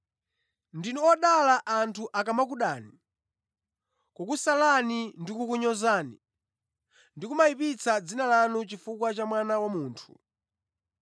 Ndinu odala, anthu akamakudani, kukusalani ndi kukunyozani ndi kumayipitsa dzina lanu chifukwa cha Mwana wa Munthu.